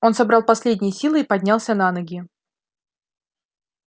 он собрал последние силы и поднялся на ноги